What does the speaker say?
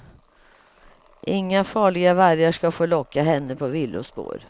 Inga farliga vargar ska få locka henne på villospår.